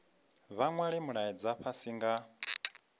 vha nwale mulaedza fhasi nga